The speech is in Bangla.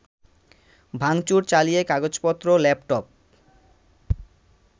ভাঙচুর চালিয়ে কাগজপত্র, ল্যাপটপ